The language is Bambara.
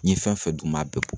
N ye fɛn fɛn d'u ma a bɛɛ bɔ